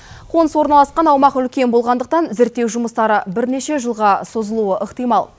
қоныс орналасқан аумақ үлкен болғандықтан зерттеу жұмыстары бірнеше жылға созылуы ықтимал